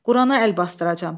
Qurana əl basdıracam.